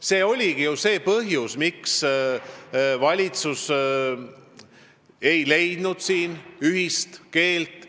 See oligi see põhjus, miks valitsus ei leidnud siin ühist keelt.